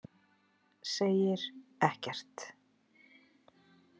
Segir ekkert.